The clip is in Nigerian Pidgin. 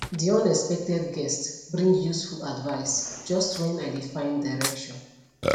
the unexpected guest bring useful advice just when i dey find direction